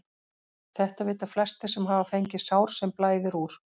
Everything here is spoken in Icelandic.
Þetta vita flestir sem hafa fengið sár sem blæðir úr.